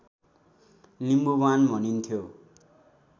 लिम्बुवान भनिन्थ्यो